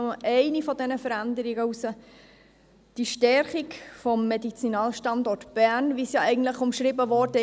Ich greife nur eine dieser Veränderungen heraus: die Stärkung des Medizinalstandorts Bern, wie es umschrieben wurde.